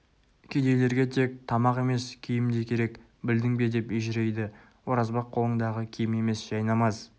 кедейлерге тек тамақ емес киім де керек білдің бе деп ежірейді оразбақ қолыңдағы киім емес жайнамаз